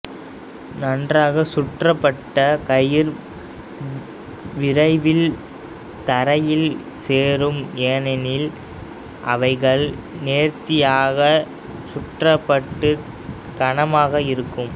நன்றாக சுற்றப்பட்ட கயிர் விரைவில் தரையில் சேரும் ஏனெனில் அவைகள் நேர்த்தியாக சுற்றப்பட்டு கனமாக இருக்கும்